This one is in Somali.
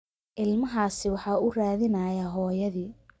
Ilmahaasi waxa uu raadinayaa hooyadii.